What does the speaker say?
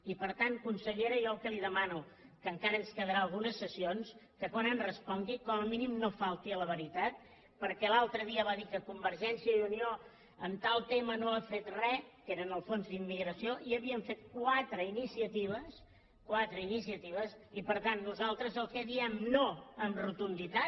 i per tant consellera jo el que li demano que encara ens quedaran algunes sessions que quan em respongui com a mínim no falti a la veritat perquè l’altre dia va dir que convergència i unió en tal tema no ha fet re que era en el fons d’immigració i havíem fet quatre iniciatives quatre iniciatives i per tant nosaltres al que diem no amb rotunditat